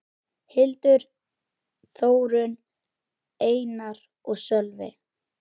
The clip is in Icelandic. Hildur, Þórunn, Einar og Sölvi.